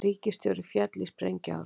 Ríkisstjóri féll í sprengjuárás